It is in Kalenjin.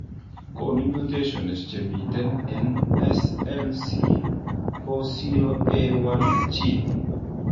Konu mutations chemiten en SLC40A1 gene